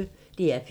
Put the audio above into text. DR P1